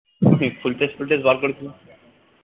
full tose full tose ball করেছিল